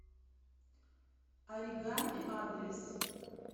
оригами адрес